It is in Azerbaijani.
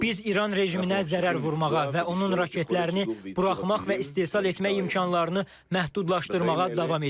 Biz İran rejiminə zərər vurmağa və onun raketlərini buraxmaq və istehsal etmək imkanlarını məhdudlaşdırmağa davam edirik.